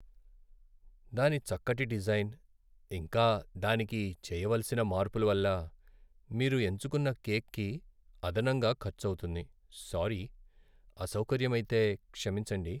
దాని చిక్కటి డిజైన్, ఇంకా దానికి చేయవలసిన మార్పుల వల్ల మీరు ఎంచుకున్న కేక్కి అదనంగా ఖర్చు అవుతుంది, సారీ. అసౌకర్యమైతే క్షమించండి.